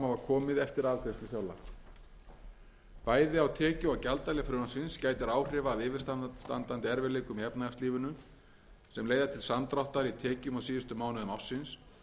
afgreiðslu fjárlaga bæði á tekju og gjaldahlið frumvarpsins gætir áhrifa af yfirstandandi erfiðleikum í efnahagslífinu sem leiða til samdráttar í tekjum á síðustu mánuðum ársins